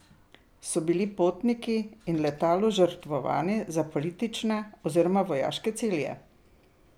So bili potniki in letalo žrtvovani za politične oziroma vojaške cilje?